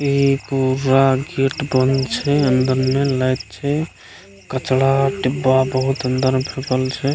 इ पूरा गेट बंद छै अंदर मे लाइट छै कचड़ा डिब्बा बहुत अंदर मे फेकल छै ।